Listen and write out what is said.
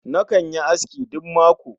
Nakan yi aski duk mako